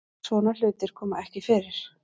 Svona hlutir koma ekki fyrir